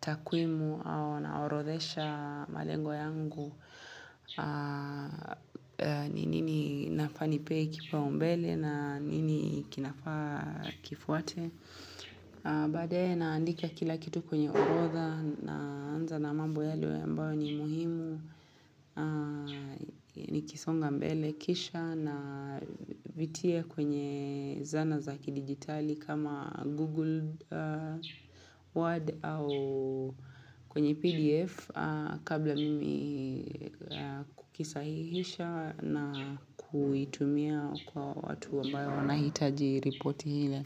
takwimu au naorodhesha malengo yangu. Ni nini nafaa nipe kipaumbele na nini kinafaa kifuwate. Baadaye naandika kila kitu kwenye orodha naanza na mambo yale ambayo ni muhimu Nikisonga mbele kisha navitie kwenye zana zakidigitali kama google word au kwenye pdf Kabla mimi kisahihisha na kuitumia kwa watu ambayo na hitaji repoti ile.